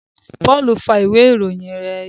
Paul fa ìwé ìròyìn yén ya